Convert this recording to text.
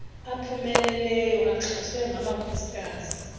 aphumeleleyo axhaswe ngamakhosikazi